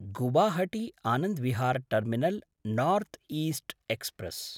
Guwahati Anand Vihar terminal north east express